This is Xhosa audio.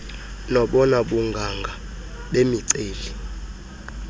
nobona bunganga bemiceli